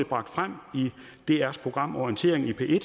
bragt frem i drs program orientering i p1